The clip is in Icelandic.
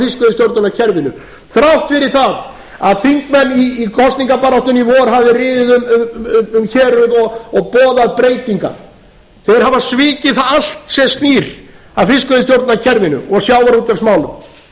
fiskveiðistjórnarkerfinu þrátt fyrir að þingmenn í kosningabaráttunni hafi riðið um héruð og boðað breytingar þeir hafa svikið það allt sem snýr að fiskveiðistjórnarkerfinu og